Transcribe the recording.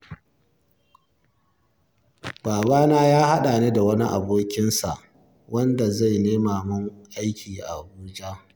Babana ya haɗa ni da wani abokinsa wanda zai nema min aiki a Abuja.